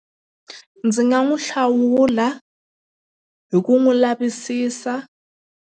Ndzi nga n'wi hlawula hi ku n'wi lavisisa.